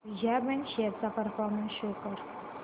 Vijaya bank shares चा performance show कर